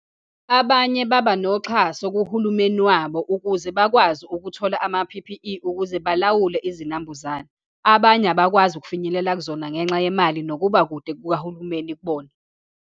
Abanye baba noxhaso kuhulumeni wabo ukuze bakwazi ukuthola ama-P_P_E, ukuze balawule izinambuzane. Abanye abakwazi ukufinyelela kuzona ngenxa yemali, nokuba kude kukahulumeni kubona.